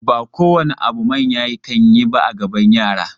Ba kowane abu manya kan yi ba a gaban yara.